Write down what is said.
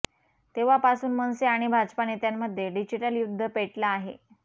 तेव्हापासून मनसे आणि भाजपा नेत्यांमध्ये डिजिटल युद्ध पेटलं आहे